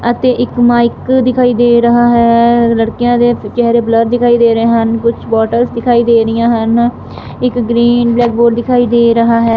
ਅਤੇ ਇੱਕ ਮਾਈਕ ਦਿਖਾਈ ਦੇ ਰਹਾ ਹੈ ਲੜਕਿਆਂ ਦੇ ਚਿਹਰੇ ਬਲਰ ਦਿਖਾਈ ਦੇ ਰਹੇ ਹਨ ਕੁਝ ਬੋਟਲਸ ਦਿਖਾਈ ਦੇ ਰਹੀਆਂ ਹਨ ਇੱਕ ਗਰੀਨ ਬਲੈਕ ਬੋਰਡ ਦਿਖਾਈ ਦੇ ਰਹਾ ਹੈ।